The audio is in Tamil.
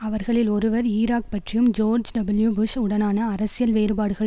அவர்களில் ஒருவர் ஈராக் பற்றியும் ஜோர்ஜ் டபுள்யூ புஷ் உடனான அரசியல் வேறுபாடுகள்